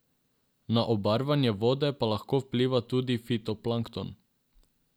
Na obarvanje vode pa lahko vpliva tudi fitoplankton.